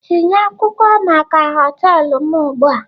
Tinye akwụkwọ maka họtelu m ugbu a!